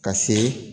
Ka se